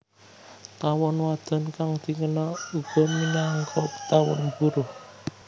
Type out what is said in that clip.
Tawon wadon kang dikenal uga minangka tawon buruh